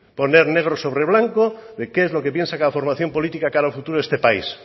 poner negro sobre blanco de qué es lo que piensa cada formación política de cara al futuro de este país